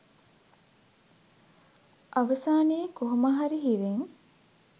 අවසානයේ කොහොම හරි හිරෙන්